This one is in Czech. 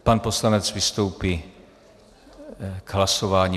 Pan poslanec vystoupí k hlasování.